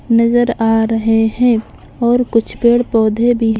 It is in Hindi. नजर आ रहे हैं और कुछ पेड़-पौधे भी--